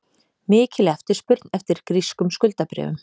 Mikil eftirspurn eftir grískum skuldabréfum